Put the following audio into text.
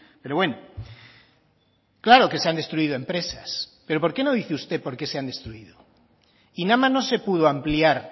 pero bueno claro que se han destruido empresas pero por qué no dice usted porqué se han destruido inama no se pudo ampliar